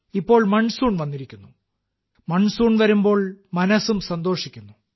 ഇപ്പോൾ മൺസൂൺ വന്നിരിക്കുന്നു മൺസൂൺ വരുമ്പോൾ മനസ്സും സന്തോഷിക്കുന്നു